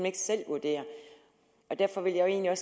ikke selv vurdere derfor vil jeg